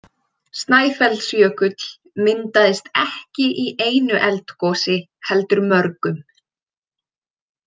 Snæfellsjökull myndaðist ekki í einu eldgosi heldur mörgum.